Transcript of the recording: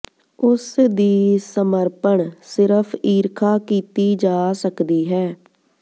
ਉਸ ਦੀ ਸਮਰਪਣ ਸਿਰਫ ਈਰਖਾ ਕੀਤੀ ਜਾ ਸਕਦੀ ਹੈ